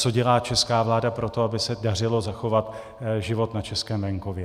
Co dělá česká vláda pro to, aby se dařilo zachovat život na českém venkově?